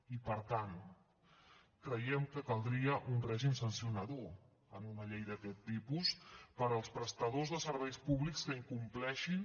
i per tant creiem que caldria un règim sancionador en una llei d’aquest tipus per als prestadors de serveis públics que incompleixin